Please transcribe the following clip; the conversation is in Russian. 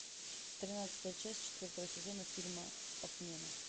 тринадцатая часть четвертого сезона фильма отмена